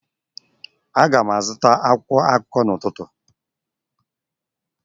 Aga m azụta akwụkwọ akụkọ n'ụtụtụ